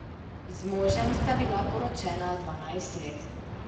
Z možem sta bila poročena dvanajst let.